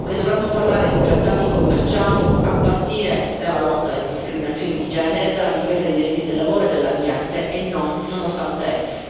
Ricordo che dovremmo parlare di trattati commerciali a partire dalla lotta alle discriminazioni di genere, dalla difesa dei diritti del lavoro e dell'ambiente e non nonostante essi.